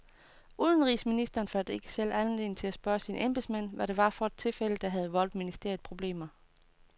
Udenrigsministeren fandt ikke selv anledning til at spørge sine embedsmænd, hvad det var for et tilfælde, der havde voldt ministeriet problemer.